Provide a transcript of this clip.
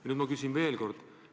Nüüd ma küsin veel kord.